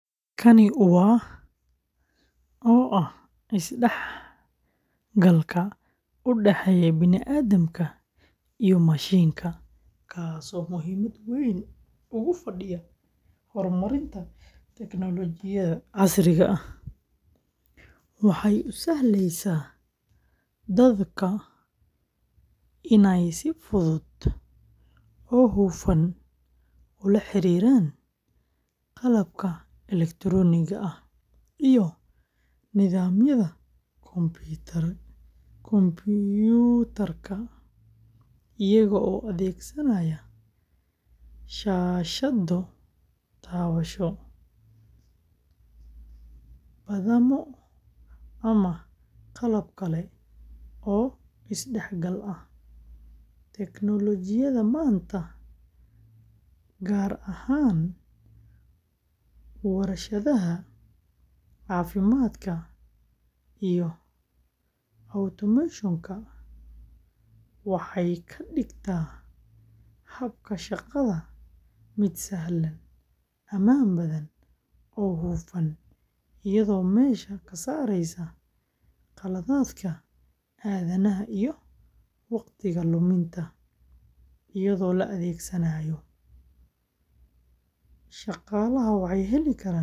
Kani waa oo ah is-dhexgalka u dhexeeya bini’aadamka iyo mashiinka, kaas oo muhiimad weyn ugu fadhiya horumarinta tignoolajiyada casriga ah, waxay u sahlaysaa dadka inay si fudud oo hufan ula xiriiraan qalabka elektarooniga ah iyo nidaamyada kombuyuutarka, iyagoo adeegsanaya shaashado taabasho, badhamo, ama qalab kale oo is-dhexgal ah. Tignoolajiyada maanta, gaar ahaan warshadaha, caafimaadka, iyo automation-ka, waxay ka dhigtaa habka shaqada mid sahlan, ammaan badan, oo hufan, iyadoo meesha ka saaraysa qaladaadka aadanaha iyo waqtiga luminta. Iyadoo la adeegsanayo, shaqaalaha waxay heli karaan macluumaad muhiim ah.